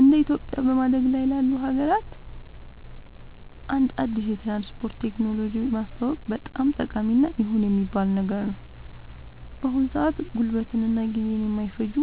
እንደ ኢትዮጵያ በማደግ ላይ ላሉ ሀገራት አንድ አዲስ የትራንስፖርት ቴክኖሎጂ ማስተዋወቅ በጣም ጠቃሚ እና ይሁን የሚባል ነገር ነው። በአሁን ሰአት ጉልበትን እና ጊዜን የማይፈጁ